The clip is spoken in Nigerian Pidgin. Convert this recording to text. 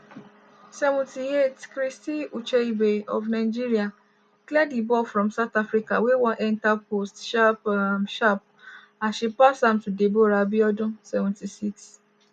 78' christy ucheibe of nigeria clear di ball from south africa wey wan enta post sharp um sharp as she pass am to deborah abiodun.76'